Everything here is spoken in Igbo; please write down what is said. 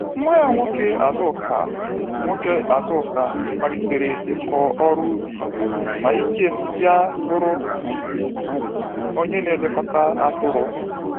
Nwa ya nwoke Azuka nwoke Azuka malitere ịkụ ọrụ ubi, ma Ikem bịa bụrụ onye na-elekọta atụrụ.